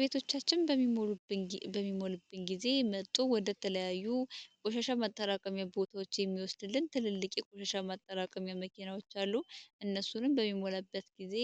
ቤቶቻችን በሚሞልብን ጊዜ መጦ ወደ ተለያዩ ቆሻሻ ማጠራቀሚ ቦታዎች የሚወስድልን ትልልቂ ቆሻሻ ማጠራቀም የመኬናዎች አሉ። እነሱንም በሚሞለበት ጊዜ